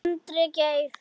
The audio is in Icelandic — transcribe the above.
Andri Geir.